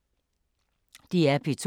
DR P2